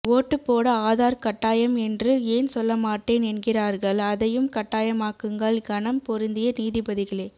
ஓட்டு போட ஆதார் கட்டாயம் என்று ஏன் சொல்ல மாட்டேன் என்கிறார்கள் அதையும் கட்டாயமாக்குங்கள் கனம் பொருந்திய நீதிபதிகளே